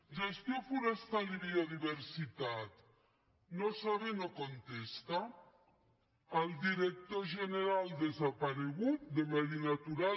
gestió forestal i biodiversitat no sabe no contestael director general desaparegut de medi natural